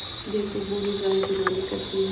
जैसे बूढ़ी गाय जुगाली करती है